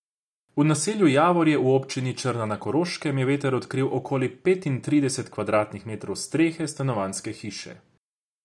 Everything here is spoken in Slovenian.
V naselju Javorje v občini Črna na Koroškem je veter odkril okoli petintrideset kvadratnih metrov strehe stanovanjske hiše.